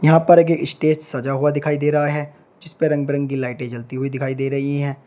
यहां पर एक स्टेज सजा हुआ दिखाई दे रहा है जिस पे रंग बिरंगी लाइटें जलती हुई दिखाई दे रही हैं।